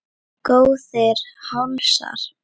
Góðir hálsar!